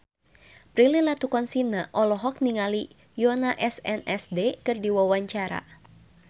Prilly Latuconsina olohok ningali Yoona SNSD keur diwawancara